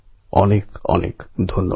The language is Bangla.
অনেক অনেক ধন্যবাদ